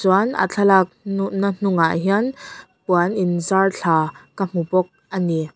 chuan a thlalak na hnungah hian puan in zar thla ka hmu bawk ani.